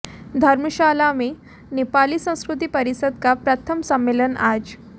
धर्मशाला में नेपाली संस्कृति परिषद का प्रथम सम्मेलन आज